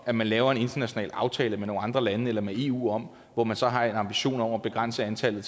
at man laver en international aftale med nogle andre lande eller med eu hvor man så har en ambition om at begrænse antallet